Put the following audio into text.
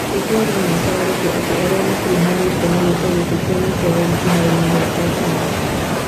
Nĩtwarie ma cararũkũ atĩ arĩa makuruhanĩtio na gĩko gĩkĩ tianyite ũgeni kĩharoo-inĩ gĩa Turf Moor